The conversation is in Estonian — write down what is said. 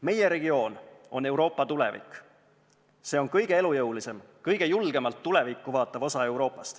Meie regioon on Euroopa tulevik, see on kõige elujõulisem ja kõige julgemalt tulevikku vaatav osa Euroopas.